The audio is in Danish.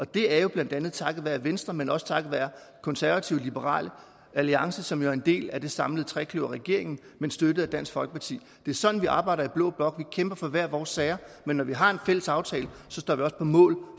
det er blandt andet takket være venstre men også takket være konservative og liberal alliance som jo er en del af den samlede trekløverregering men støttet af dansk folkeparti det er sådan vi arbejder i blå blok vi kæmper for hver vores sager men når vi har en fælles aftale står vi også på mål